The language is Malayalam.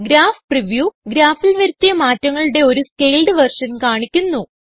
ഗ്രാഫ് പ്രിവ്യൂ ഗ്രാഫിൽ വരുത്തിയ മാറ്റങ്ങളുടെ ഒരു സ്കേൽഡ് വേർഷൻ കാണിക്കുന്നു